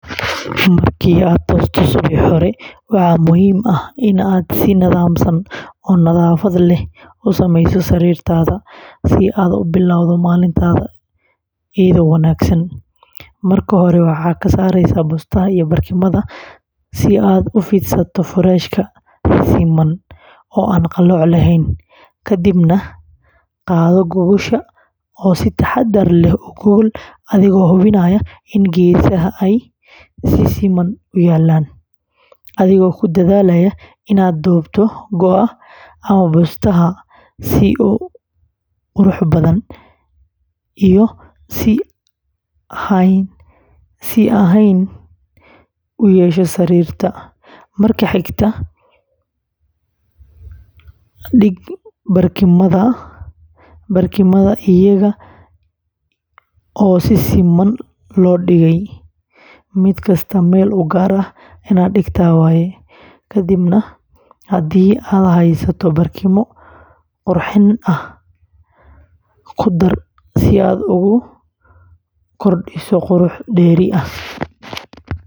Markii aad toosto subaxnimadii hore, waxaa muhiim ah in aad si nidaamsan oo nadaafad leh u samayso sariirtaada si aad u bilowdo maalintaada si wanaagsan; marka hore, ka saar bustaha iyo barkimada si aad u fidsato furaashka si siman oo aan qallooc lahayn, kadibna qaado gogosha oo si taxaddar leh u gogol adigoo hubinaya in geesaha ay si siman u yaalliin, adigoo ku dadaalaya in aad duubto go’ ama bustaha si uu qurux iyo is hayn u yeesho sariirta; marka xigta, dhig barkimooyinka iyaga oo si siman loo dhigay, mid kasta meel u gaar ah, kadibna haddii aad haysato barkimo qurxin ah, ku dar si aad ugu darto bilic dheeri ah.